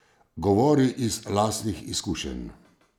Govori iz lastnih izkušenj?